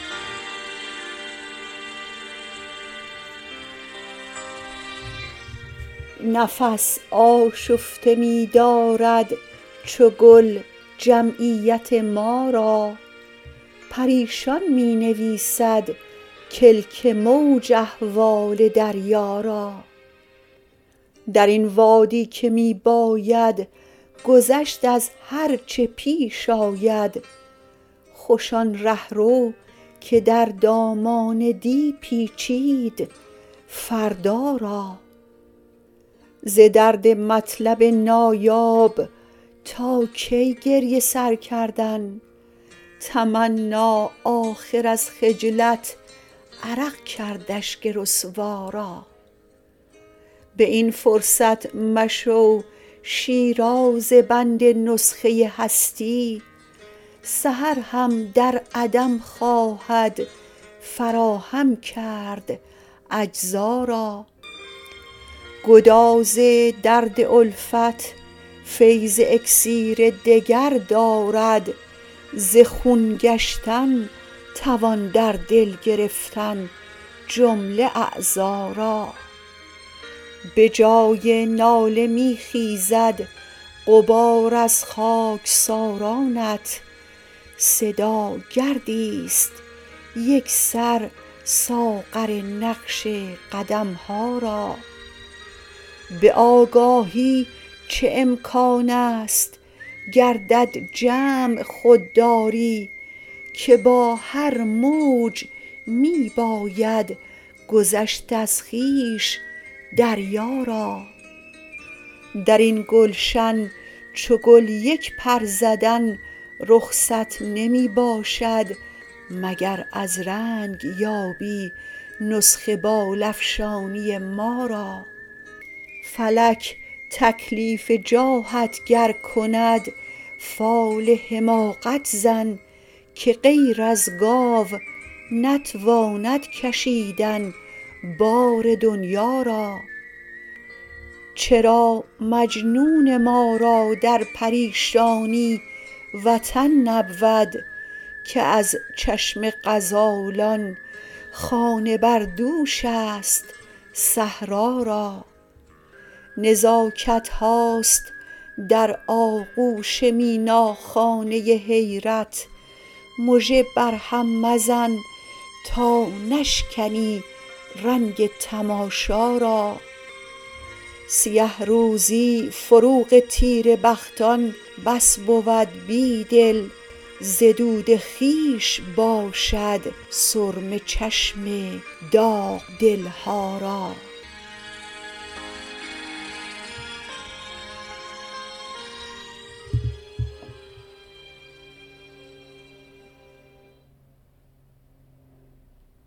نفس آشفته می دارد چو گل جمعیت ما را پریشان می نویسد کلک موج احوال دریا را در این وادی که می باید گذشت از هرچه پیش آید خوش آن رهرو که در دامان دی پیچید فردا را ز درد مطلب نایاب تا کی گریه سر کردن تمنا آخر از خجلت عرق کرد اشک رسوا را به این فرصت مشو شیرازه بند نسخه هستی سحر هم در عدم خواهد فراهم کرد اجزا را گداز درد الفت فیض اکسیر دگر دارد ز خون گشتن توان در دل گرفتن جمله اعضا را یه جای ناله می خیزد غبار خاکسارانت صدا گردی ست یکسر ساغر نقش قدم ها را به آگاهی چه امکانست گردد جمع خوددا ری که با هر موج می باید گذشت از خویش دریا را در این گلشن چو گل یک پر زدن رخصت نمی باشد مگر از رنگ یابی نسخه بال افشانی ما را فلک تکلیف جاهت گر کند فال حماقت زن که غیر از گاو نتواند کشیدن بار دنیا را چرا مجنون ما را در پریشانی وطن نبود که از چشم غزالان خانه بردوش است صحرا را نزاکت هاست در آغوش میناخانه حیرت مژه بر هم مزن تا نشکنی رنگ تماشا را سیه روزی فروغ تیره بختان بس بود بیدل ز دود خویش باشد سرمه چشم داغ دل ها را